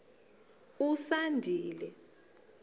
usandile